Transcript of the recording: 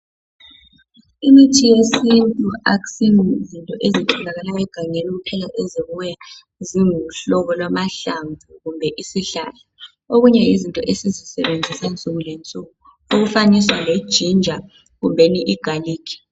Imithi yesintu kakusimithi etholakala egangeni kuphela. Ezibuya ziluhlobo lwamahlamvu kumbe isihlahla. Okunye yizinto esizisebenzisa insuku lensuku. Okufaniswa lejinja ( ginger) kumbeni igalikhi. ( garlic).